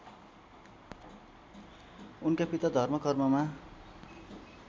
उनका पिता धर्मकर्ममा